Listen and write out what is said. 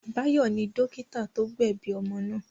Báyọ̀ ni dọ́kítá tó gbẹ̀bi omo náà.